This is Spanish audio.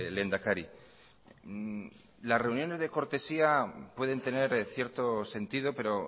lehendakari las reuniones de cortesía pueden tener cierto sentido pero